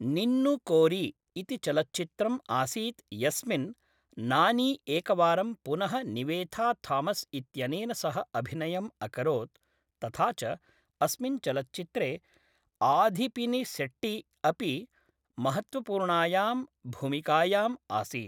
निन्नु कोरी इति चलच्चित्रम् आसीत् यस्मिन् नानी एकवारं पुनः निवेथा थामस् इत्यनेन सह अभिनयम् अकरोत्, तथा च अस्मिन् चलच्चित्रे आधिपिनिसेट्टी अपि महत्त्वपूर्णायां भूमिकायां आसीत् ।